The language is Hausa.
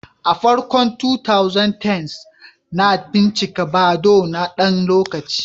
A farkon 2010s, na bincika Badoo na ɗan lokaci.